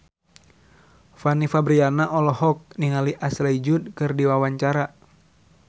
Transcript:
Fanny Fabriana olohok ningali Ashley Judd keur diwawancara